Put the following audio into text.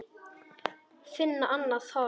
Finna annað hold.